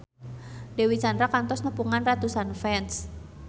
Dewi Sandra kantos nepungan ratusan fans